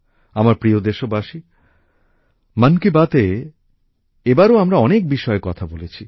আমার প্রিয় দেশবাসী মন কি বাতএ এবারও আমরা অনেক বিষয়ে কথা বলেছি